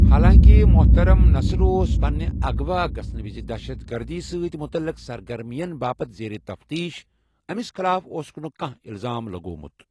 حالانٛکہِ محترم نصر اوس پنِنہِ اغوا گژھَنہٕ وِزِ دہشت گردی سۭتۍ مُتلِق سرگرمیَن باپتھ زیر تفتیٖش، أمِس خلاف اوسُکھ نہٕ کانٛہہ الزام لگوٚومُت۔